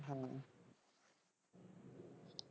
ਹਾਂਜੀ।